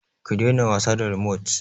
Ki daina wasa da rimot!